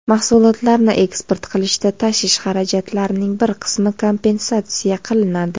Mahsulotlarni eksport qilishda tashish xarajatlarining bir qismi kompensatsiya qilinadi.